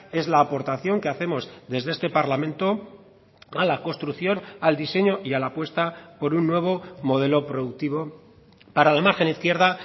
es la aportación que hacemos desde este parlamento a la construcción al diseño y a la apuesta por un nuevo modelo productivo para la margen izquierda